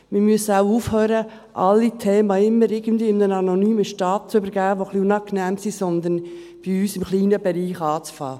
Wir müssen auch aufhören, alle Themen, die ein wenig unangenehm sind, immer irgendwie einem anonymen Staat zu übergeben, sondern wir müssen bei uns im kleinen Bereich anfangen.